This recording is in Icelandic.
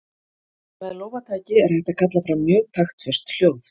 Með lófataki er hægt að kalla fram mjög taktföst hljóð.